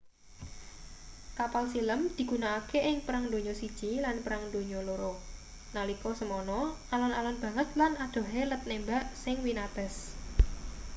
kapal silem digunakake ing perang donya i lan perang dunia ii nalika semono alon-alon banget lan adohe let nembak sing winates